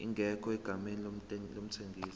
ingekho egameni lomthengisi